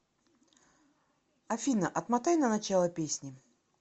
афина отмотай на начало песни